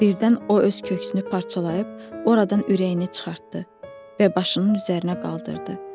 Birdən o öz köksünü parçalayıb oradan ürəyini çıxartdı və başının üzərinə qaldırdı.